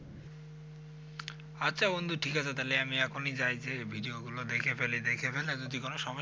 আচ্ছা বন্ধু ঠিক আছে তাহলে আমি এখনই যাই যেয়ে video গুলো দেখে ফেলি, দেখে ফেলে যদি কোন সমস্যা